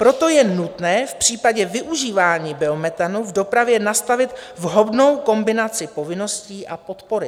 Proto je nutné v případě využívání biometanu v dopravě nastavit vhodnou kombinaci povinností a podpory.